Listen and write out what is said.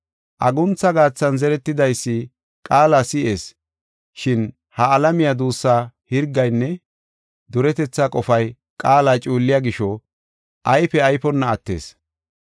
Aguntha gaathan zeretidaysi qaala si7is, shin ha alamiya duussaa Hirgaynne duretetha qofay qaala cuulliya gisho ayfe ayfonna attees.